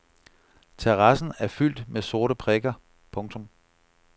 Terrassen er fyldt med sorte prikker. punktum